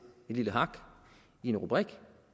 lille hak i en rubrik